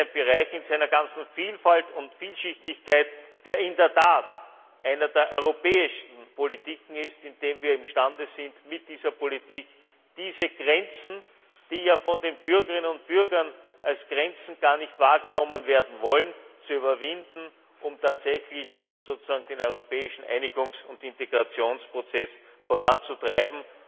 Das ist ein Bereich, der in seiner ganzen Vielfalt und Vielschichtigkeit in der Tat eine der europäischsten Politiken ist, in dem wir imstande sind, mit dieser Politik diese Grenzen, die ja von den Bürgerinnen und Bürgern als Grenzen gar nicht wahrgenommen werden wollen, zu überwinden, um tatsächlich den europäischen Einigungs und Integrationsprozess voranzutreiben.